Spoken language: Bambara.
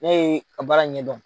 O bɛɛ ye ka baara ɲɛdɔn.